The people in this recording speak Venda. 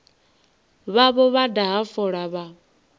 vhavho vha daha fola vha